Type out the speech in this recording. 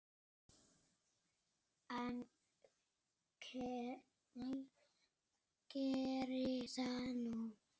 En geri það nú.